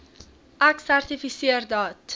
ek sertifiseer dat